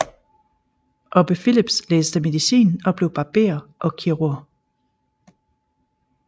Obbe Philips læste medicin og blev barber og kirurg